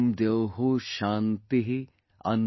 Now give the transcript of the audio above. शान्तिः अन्तरिक्षं शान्तिः,